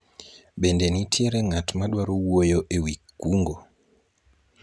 bende nitiere ng'at madwaro wuoyo ewi kungo ?